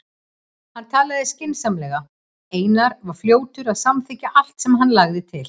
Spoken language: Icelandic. Hann talaði skynsamlega og Einar var fljótur að samþykkja allt sem hann lagði til.